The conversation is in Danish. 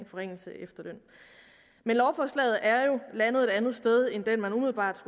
forringelser af efterlønnen men lovforslaget er jo landet et andet sted end dér man umiddelbart